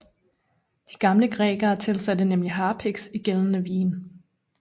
De gamle grækere tilsatte nemlig harpiks i pågældende vine